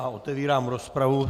A otevírám rozpravu.